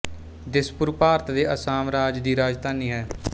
ਦਿਸਪੁਰ ਭਾਰਤ ਦੇ ਅਸਾਮ ਰਾਜ ਦੀ ਰਾਜਧਾਨੀ ਹੈ